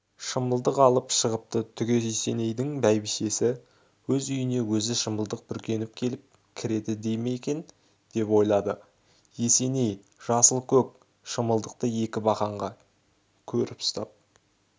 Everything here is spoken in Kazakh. шымылдық алып шығыпты түге есенейдің бәйбішесі өз үйіне өзі шымылдық бүркеніп келіп кіреді дей ме екен деп ойлады есеней жасыл-көк шымылдықты екі бақанға көріп ұстап